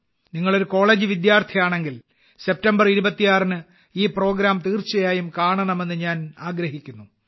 നിങ്ങൾ ഒരു കോളേജ് വിദ്യാർഥിയാണെങ്കിൽ സെപ്റ്റംബർ 26ന് ഈ പരിപാടി തീർച്ചയായും കാണണമെന്ന് ഞാൻ ആഗ്രഹിക്കുന്നു